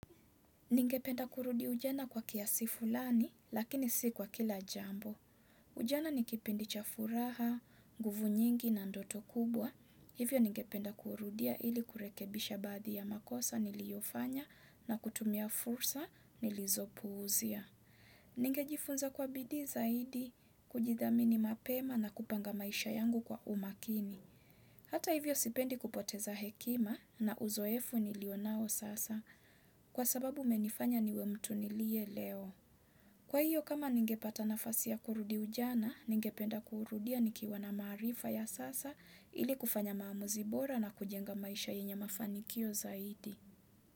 Ningependa kurudi ujana kwa kiasi fulani, lakini si kwa kila jambo. Ujana ni kipindi cha furaha, nguvu nyingi na ndoto kubwa. Hivyo ningependa kurudia ili kurekebisha badhi ya makosa niliyofanya na kutumia fursa nilizopuuzia. Ningejifunza kwa bidii zaidi kujidhamini mapema na kupanga maisha yangu kwa umakini Hata hivyo sipendi kupoteza hekima na uzoefu nilionao sasa Kwa sababu imenifanya niwe mtu nilie leo Kwa hiyo kama ningepata nafasi ya kurudi ujana Ningependa kurudia nikiwa na marifa ya sasa ili kufanya maamuzi bora na kujenga maisha yenye mafanikio zaidi.